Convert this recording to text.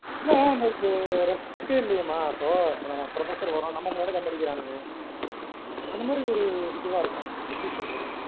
இல்ல அந்த ஒரு respect இல்லையேமா இப்போ professor வர்றோம் நம்ம முன்னாடியே தம் அடிக்கிறாங்க அந்த மாதுரி ஒரு இதுவா இருக்காங்க எப்படி சொல்றது